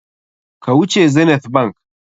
Ka wuce Zenith bank!